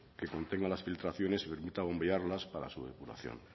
que contenga las filtraciones y permita bombearlas para su depuración